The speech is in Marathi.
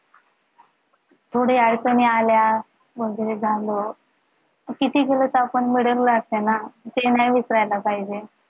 पुढे अडचणी आल्या वगैरे झालं किती केलं तरी आपण middle class आहे ना ते नाही विसरायला पाहिजे